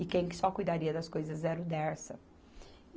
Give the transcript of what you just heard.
E quem que só cuidaria das coisas era o Dersa.